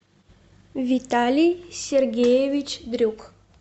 виталий сергеевич дрюк